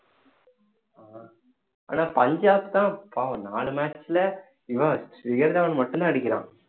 ஆனா பஞ்சாப் தான் பாவம் நாலு match ல இவன் சிகர்தாவான் மட்டும்தான் அடிக்கிறான்